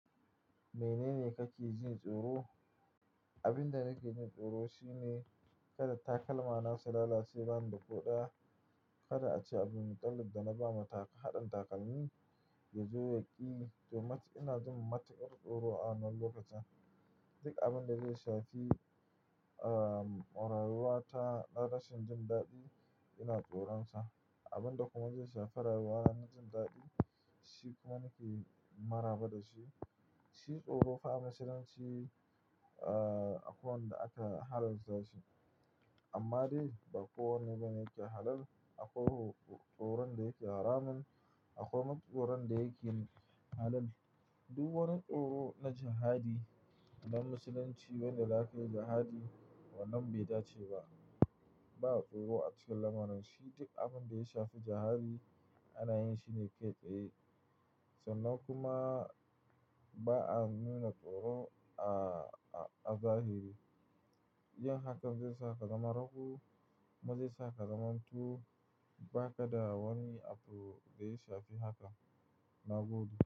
Menene kake jin tsoro? Abin da nake jin tsoro shine kada takalmana su lalace ban da koɗaya, kada a ce abdulmudallib da na ba wa haɗin takalmi ya zo ya ƙi, to ina jin matukar tsoro a wannan lokacin. Duk abin da zai shafi, uhm, rayuwata na rashin jin daɗi ina tsoronsa. Abin da kuma zai shafi rayuwana na jin daɗi, shi kuma nake maraba da shi. Shi tsoro fa a Musulunci, uhm, akwai wanda aka halas sa shi. Amma dai bakowanne bane yake halaal, akwai tsoron da yake haramun, akwai kuma tsoron da yake halaal. Duk wani tsoro na jihadi a Musulunci, wanda zakai yi jihadi wannan bai dace ba. Ba a tsoro a cike lamarin shi, duk abin da ya shafi jihadi ana yin shi ne kai tsaye. Sannan kuma ba a nuna tsoro a, a zahiri. Yin hakan zai sa ka zama rago, ma zai sa ka zamanto, ba ka da wani abu da ya shafi hakan na godiya.